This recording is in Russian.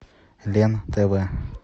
лен тв